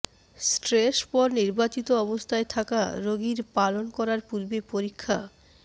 stress পর নির্বাচিত অবস্থায় থাকা রোগীর পালন করার পূর্বে পরীক্ষা